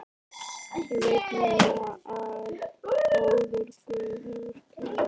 Ég veit núna að góður guð hefur kjörið mig.